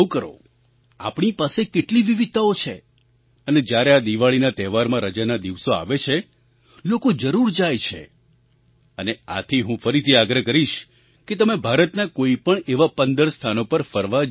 આપણી પાસે કેટલી વિવિધતાઓ છે અને જ્યારે આ દિવાળીના તહેવારમાં રજાના દિવસો આવે છે લોકો જરૂર જાય છે અને આથી હું ફરીથી આગ્રહ કરીશ કે તમે ભારતના કોઈ પણ એવાં 15 સ્થાનો પર ફરવા જરૂર જાવ